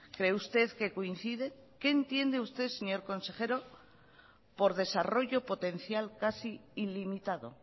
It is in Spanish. cree usted que coincide qué entiende usted señor consejero por desarrollo potencial casi ilimitado